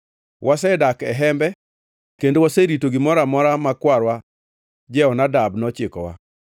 Wasedak e hembe kendo waserito gimoro amora ma kwarwa Jehonadab nochikowa.